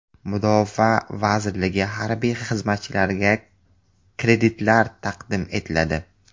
Mudofaa vazirligi harbiy xizmatchilariga kreditlar taqdim etiladi .